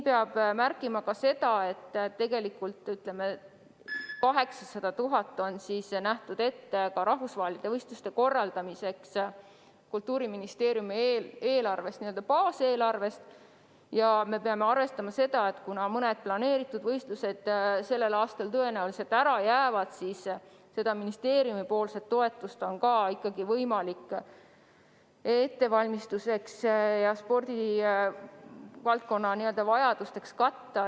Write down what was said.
Peab märkima ka seda, et tegelikult on Kultuuriministeeriumi eelarves, n-ö baaseelarves, 800 000 eurot ette nähtud ka rahvusvaheliste võistluste korraldamiseks, aga kuna mõni planeeritud võistlus jääb sellel aastal tõenäoliselt ära, siis seda toetust on võimalik kasutada mitmesuguseks ettevalmistuseks ja spordivaldkonna vajaduste katmiseks.